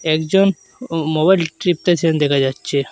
একজন ও মোবাইল টিপতেছেন দেখা যাচ্চে।